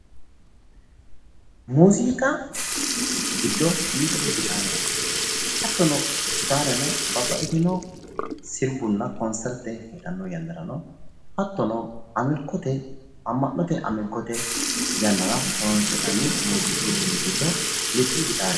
Muziiqu duucha horo aanonke ,muziiqa horonsirate Gitare horonsi'neemmottanna, faarsotenna sirbano ikko babbaxino qixxawo ibbitinotta assate horonsi'neemmo uduunichoti